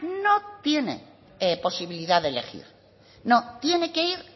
no tiene posibilidad de elegir no tiene que ir